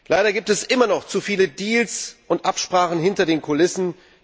Leider gibt es immer noch zu viele Deals und Absprachen hinter den Kulissen.